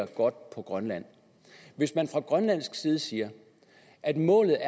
godt på grønland hvis man fra grønlandsk side siger at målet